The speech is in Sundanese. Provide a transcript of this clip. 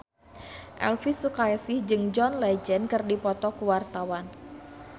Elvy Sukaesih jeung John Legend keur dipoto ku wartawan